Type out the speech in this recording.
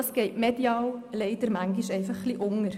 Das geht leider medial manchmal ein bisschen unter.